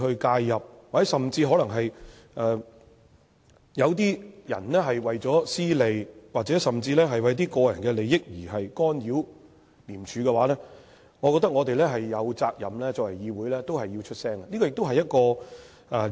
假如有些人為了私利，甚至乎為了一些個人利益而干擾廉署的話，我覺得作為議會，我們有責任發聲。